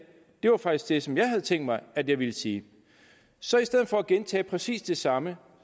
det var faktisk det som jeg havde tænkt mig at jeg ville sige så i stedet for at gentage præcis det samme